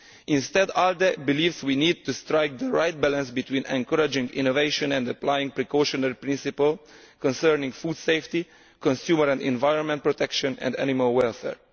Instead, my group believes we need to strike the right balance between encouraging innovation and applying the precautionary principle concerning food safety, consumer and environmental protection and animal welfare.